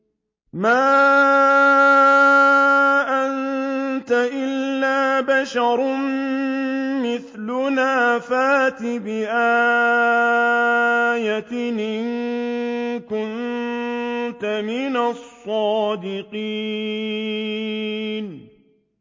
مَا أَنتَ إِلَّا بَشَرٌ مِّثْلُنَا فَأْتِ بِآيَةٍ إِن كُنتَ مِنَ الصَّادِقِينَ